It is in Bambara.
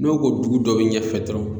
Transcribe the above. N'o ko dugu dɔ bɛ ɲɛfɛ dɔrɔn